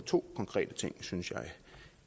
to konkrete ting synes jeg